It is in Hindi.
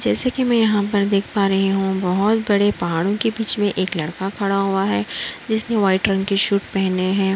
जैसे कि मैं यहाँ पर देख पा रही हूं बोहोत बड़े पहाड़ों के बीच में एक लड़का खड़ा हुआ है जिसने व्हाइट रंग की सूट पहने हैं।